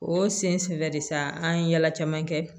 O sen su dɛ sa an ye yala caman kɛ